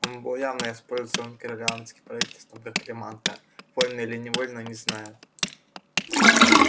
он был явно использован корелианским правительством как приманка вольно или невольно не знаю